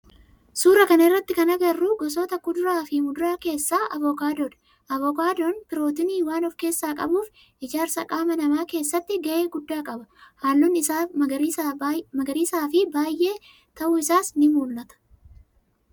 Suuraa kana irratti kan agarru gosoota kuduraa fi muduraa keessaa avokaadodha. Avokaadon pirootinii waan of keessaa qabuuf ijaarsa qaama nama keessatti gahe guddaa qaba. Halluun isaa magariisa fi baayyee ta'u isaas ni mul'ata.